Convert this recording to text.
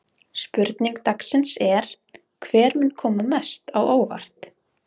Spurning dagsins er: Hver mun koma mest á óvart?